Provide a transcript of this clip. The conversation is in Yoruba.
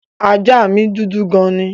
Ajá mí dúdú gan ni.